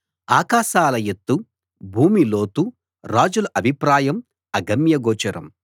ఆకాశాల ఎత్తు భూమి లోతు రాజుల అభిప్రాయం అగమ్యగోచరం